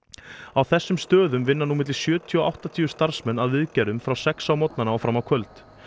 á þessum stöðum vinna nú milli sjötíu og áttatíu starfsmenn að viðgerðum frá sex á morgnana og fram á kvöld